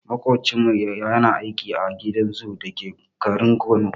Maƙocinmu yana aiki a gidan zoo dake garin Kano.